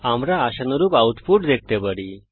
আমরা আশানুরূপ আউটপুট দেখতে পারি